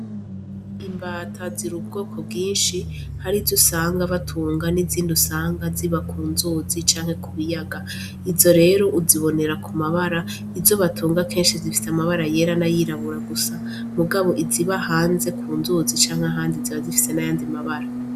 Imbata ziri ubwoko bwinshi hari izo usanga batunga n'izindi usanga ziba ku nzuzi canke ku biyaga izo rero uzibonera ku mabara izo batunga kenshi zifise amabara yera nay'irabura gusa mugabo iziba hanze ku nzuzi canke ahandi ziba zifise n'ayandi mabara.